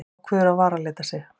Ákveður að varalita sig.